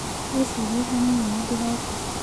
Wĩcirie hanini, nĩ ndĩroka.